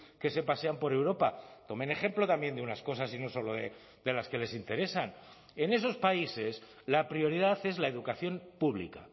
que se pasean por europa tomen ejemplo también de unas cosas y no solo de las que les interesan en esos países la prioridad es la educación pública